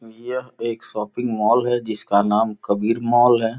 यह एक shopping mall है जिसका नाम कबीर मॉल है।